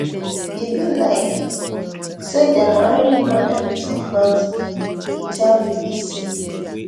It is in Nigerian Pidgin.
e be like say dem already know everything about me e tell bbc